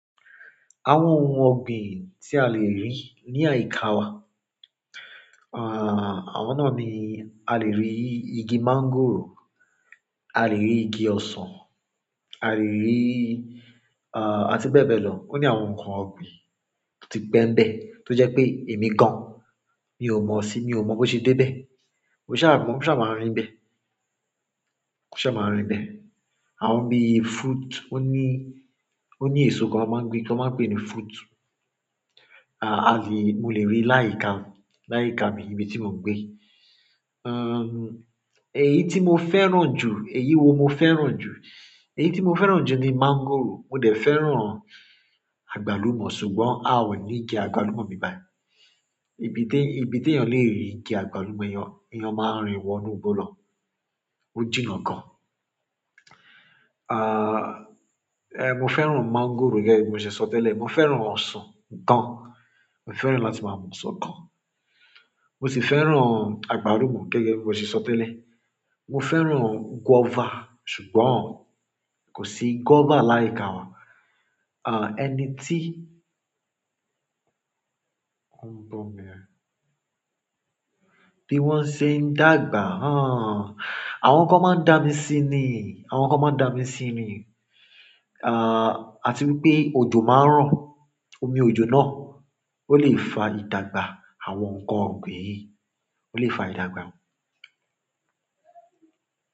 Àwọn ohun ọ̀gbìn tí a lè rí ní àyíká wa, àwọn náà ni a lè rí igi máńgòrò, a lè rí igi ọsàn, a lè rí, à, àti bẹ́ẹ̀ bẹ́ẹ̀ lọ. Ó ní àwọn ǹnkan ọ̀gbìn tó ti pẹ́ nibẹ́, tó jẹ́ pé èmi gan-an mi ò mọ̀ sí, mi ò mọ̀ bó ṣe dé bẹ́. Mo ṣà mọ̀, mo ṣà máa n ri nibẹ́. Mo ṣà máa rìn bẹ́. Àwọn bí fruit, ó ní, ó ní èso kan ti wọ́n máa ń gbin ti wọ́n máa pè ní fruit. À, a lè-- mo lè rí láyíká mi, láyíká mi ibi tí mò ń gbé. Eyí tí mo fẹ́ràn jù, èyí wo mo fẹ́ràn jù? Èyí tí mo fẹ́ràn jù ni máńgòrò. Mo dẹ̀ fẹ́ràn àgbálùmọ́ ṣùgbọ́n a ò ní igi àgbálùmọ́ nibi bayi. Ibi té, ibi tí ènìyàn lè rí igi àgbálùmọ́, èèyàn, èèyàn máa rìn wọ inú'gbó lọ. Ó jìnnà gan. À, eh, mo fẹ́ràn máńgòrò gẹ́gẹ́ bí mo ṣe sọ tẹ́lẹ̀. Mo fẹ́ràn ọsàn gan. Mo fẹ́ràn láti máa mu ọsàn gan. Mo sì fẹ́ràn àgbálùmọ́ gẹ́gẹ́ bí mo ṣe sọ tẹ́lẹ̀. Mo fẹ́ràn guava ṣùgbọ́n kò sí guava láyíká wa. Àa, ẹni tíi ohun bọ̀ mi ẹ. Bí wọ́n ṣe ń dàgbà, háaaaaa! Àwọn kan máa ń dàmí sí nii, àwọn kan máa ń dà mí sí ni. À, a ti wipé òjò máa ń ro Omi òjò náà ó lè fa ìdàgbà àwọn ǹkan ọ̀gbìn yìí. Ó lè fa ìdàgbà.